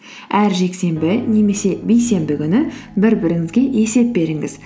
әр жексенбі немесе бейсенбі күні бір біріңізге есеп беріңіз